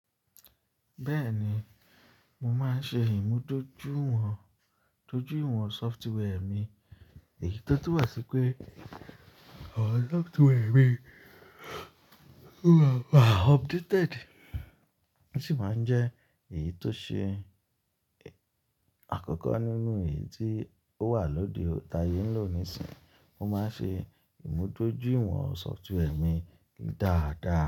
Bẹ́ẹ̀ni, mo máa ń ṣe ìmúdójúìwọ̀n, dójúìwọ̀n software mi èyí tó túmọ̀ ṣí pé àwọn software mi o ma wà updated. Ó sì máa ń jẹ́ èyí tó ṣe àkọ́kọ́ nínú èyí tí ó wà lóde, ta yé ń lò nísìnyí. Mo máa ń ṣe ìmúdójúìwọ̀n software mi dáadáa.